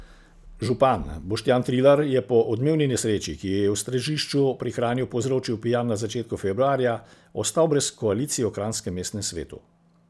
Župan Boštjan Trilar je po odmevni nesreči, ki jo je v Stražišču pri Kranju povzročil pijan na začetku februarja, ostal brez koalicije v kranjskem mestnem svetu.